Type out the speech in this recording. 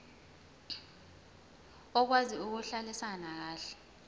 okwazi ukuhlalisana kahle